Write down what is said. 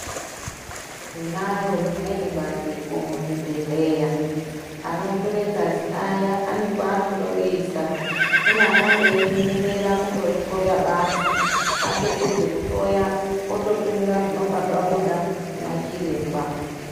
Tinaro rimweni bandiko muzvibhedhlera anotore ngazi aya anekwaanondoriisa kune akandoemera kundorihloya basi atopedza kuhloya ototumira zvinenge zvabuda kunachiremba.